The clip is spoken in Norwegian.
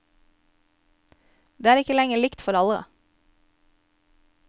Det er ikke lenger likt for alle.